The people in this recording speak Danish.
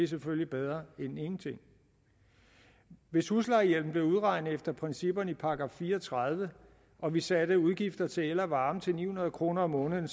selvfølgelig bedre end ingenting hvis huslejehjælpen blev udregnet efter principperne i § fire og tredive og vi satte udgifter til el og varme til ni hundrede kroner om måneden